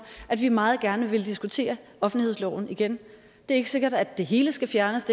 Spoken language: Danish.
at vi meget gerne vil diskutere offentlighedsloven igen det er ikke sikkert at det hele skal fjernes